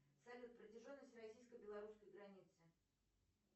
салют протяженность российско белорусской границы